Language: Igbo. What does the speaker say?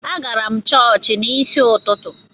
Agara m chọọchị n’isi ụtụtụ